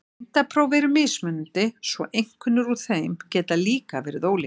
Greindarpróf eru mismunandi svo einkunnir úr þeim geta líka verið ólíkar.